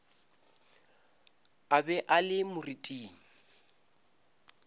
a be a le moriting